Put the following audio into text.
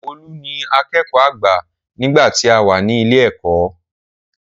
Olú ni akẹ́kọ̀ọ́ àgbà nígbà tí àwa ní ilé ẹ̀kọ́.